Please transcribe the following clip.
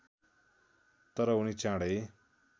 तर उनी चाँडै